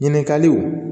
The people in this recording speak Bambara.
Ɲininkaliw